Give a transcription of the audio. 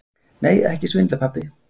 Nei, ekki svindla, pabbi.